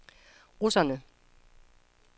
russerne